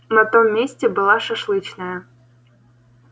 на том месте была шашлычная